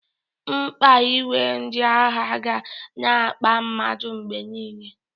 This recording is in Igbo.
Mkpa inwe ndị aha ga na-akpa mmadu mgbe niile.